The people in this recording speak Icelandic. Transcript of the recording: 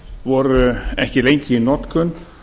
voru ekki lengi í notkun